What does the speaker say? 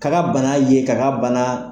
K'a ka bana ye k'a ka bana